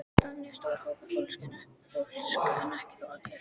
Þannig er stór hópur fólks, en ekki þó allir.